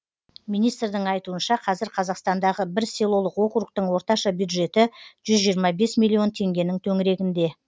министрдің айтуынша қазір қазақстандағы бір селолық округтің орташа бюджеті жүз жиырма бес миллион теңгенің төңірегінде